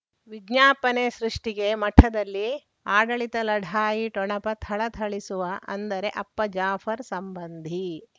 ವಿಜ್ಞಾಪನೆ ಸೃಷ್ಟಿಗೆ ಮಠದಲ್ಲಿ ಆಡಳಿತ ಲಢಾಯಿ ಠೊಣಪ ಥಳಥಳಿಸುವ ಅಂದರೆ ಅಪ್ಪ ಜಾಫರ್ ಸಂಬಂಧಿ